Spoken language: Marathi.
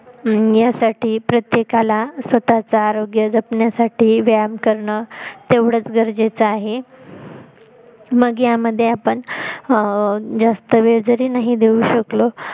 अं यासाठी प्रत्येकाला स्वतः च आरोग्य जपण्यासाठी व्यायाम करणं तेवढच गरजेच आहे मग यामध्ये आपण जास्त वेळ जरी नाही देऊ शकलो